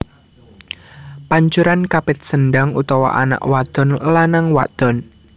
Pancuran Kapit Sendang utawa anak wadon lanang wadon